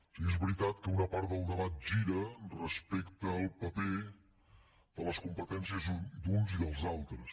o sigui és veritat que una part del debat gira respecte al paper de les competències d’uns i dels altres